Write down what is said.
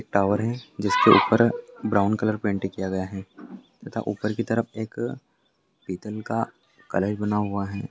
एक टावर है जिसके ऊपर ब्राउन कलर पेंट किया गया है तथा ऊपर की तरफ एक पीतल का कलश बना हुआ है।